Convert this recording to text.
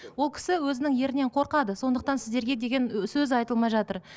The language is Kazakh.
ол кісі өзінің ерінен қорқады сондықтан сіздерге деген сөз айтылмай жатыр